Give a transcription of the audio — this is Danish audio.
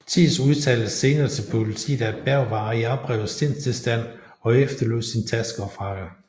Thiess udtalte senere til politet at Berg var i oprevet sindstilstand og efterlod sin taske og frakke